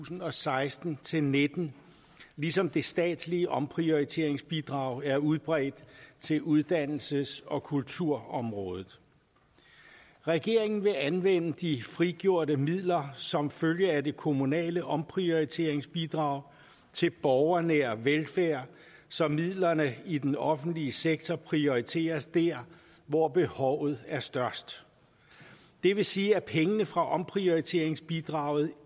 og seksten til nitten ligesom det statslige omprioriteringsbidrag er udbredt til uddannelses og kulturområdet regeringen vil anvende de frigjorte midler som følge af det kommunale omprioriteringsbidrag til borgernær velfærd så midlerne i den offentlige sektor prioriteres der hvor behovet er størst det vil sige at pengene fra omprioriteringsbidraget